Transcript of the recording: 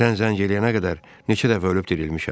Sən zəng eləyənə qədər neçə dəfə ölüb dirilmişəm.